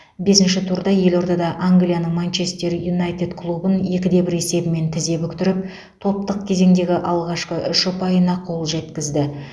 бесінші турда елордада англияның манчестер юнайтед клубын екі де бір есебімен тізе бүктіріп топтық кезеңдегі алғашқы үш ұпайына қол жеткізді